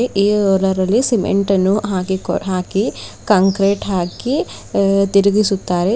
ಈ ಹೋಲಾರ್ ಅಲ್ಲಿ ಸೀಮೆಂಟ ನ್ನು ಹಾಕಿಕೂ ಹಾಕಿ ಕಾಂಕ್ರೀಟ್ ಹಾಕಿ ಹ್ಆ ತಿರುಗಿಸುತ್ತಾರೆ .